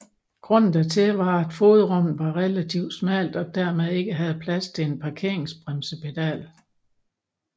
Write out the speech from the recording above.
Grunden dertil var at fodrummet var relativt smalt og dermed ikke havde plads til en parkeringsbremsepedal